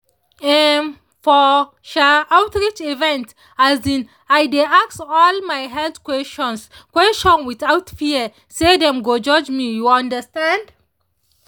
ehn for um outreach event um i dey ask all my health questions questions without fear say dem go judge me you understand?